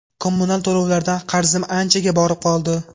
Kommunal to‘lovlardan qarzim anchaga borib qoldi.